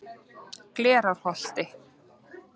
Glerárholti